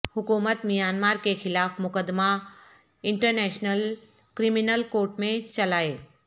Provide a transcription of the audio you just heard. حکومت میانمار کے خلاف مقدمہ انٹرنیشنل کرمنل کورٹ میں چلائے